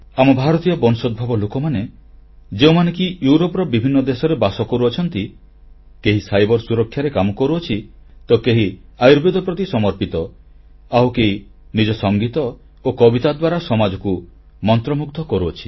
ଆମ ଭାରତୀୟ ବଂଶୋଦ୍ଭବ ଲୋକମାନେଯେଉଁମାନେ କି ୟୁରୋପର ବିଭିନ୍ନ ଦେଶରେ ବାସ କରୁଛନ୍ତି କେହି ସାଇବର ସୁରକ୍ଷାରେ କାମ କରୁଅଛି ତକେହି ଆୟୁର୍ବେଦ ପ୍ରତି ସମର୍ପିତ ଆଉ କେହି ନିଜ ସଂଗୀତ ଓ କବିତା ଦ୍ୱାରା ସମାଜକୁ ମନ୍ତ୍ରମୁଗ୍ଧ କରୁଛି